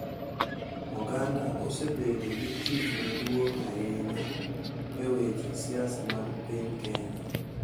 Oganda osebedo gi tich maduong’ ahinya e weche siasa mag piny Kenya,